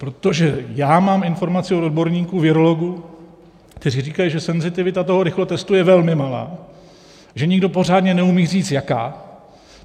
Protože já mám informaci od odborníků virologů, kteří říkají, že senzitivita toho rychlotestu je velmi malá, že nikdo pořádně neumí říct jaká.